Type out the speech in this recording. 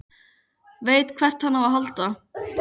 Veit hvert hann á að halda.